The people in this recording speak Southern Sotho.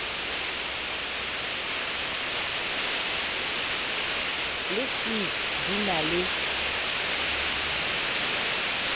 le c di na le